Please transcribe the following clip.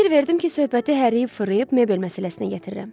Fikir verdim ki, söhbəti hərliyib-fırlayıb mebel məsələsinə gətirirəm.